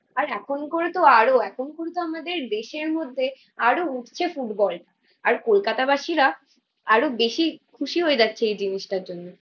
আর এখনকারতো আরো এখনকারতো আমাদের দেশের মধ্যে আরো উঠছে ফুটবল। আর কোলকাতাবাসীরা আরো বেশি খুশি হয়ে যাচ্ছে এই জিনিসটার জন্য